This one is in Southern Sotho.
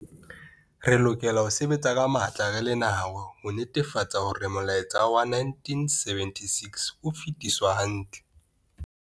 Re lokela ho sebetsa ka matla re le naha ho netefatsa hore molaetsa wa 1976 o fetiswa hantle.